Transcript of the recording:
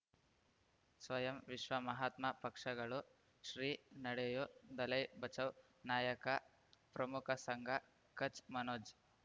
ಸ್ವಯಂ ವಿಶ್ವ ಮಹಾತ್ಮ ಪಕ್ಷಗಳು ಶ್ರೀ ನಡೆಯೂ ದಲೈ ಬಚೌ ನಾಯಕ ಪ್ರಮುಖ ಸಂಘ ಕಚ್ ಮನೋಜ್